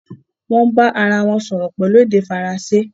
wón bá arawọn sòrò pẹlú èdè Faransé.